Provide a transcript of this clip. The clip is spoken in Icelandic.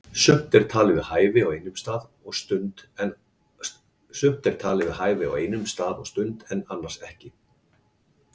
Sumt er talið við hæfi á einum stað og stund en annars ekki.